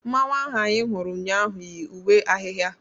Mmanwụ ahu anyị hụrụ ụnyaahụ yi uwe ahịhịa.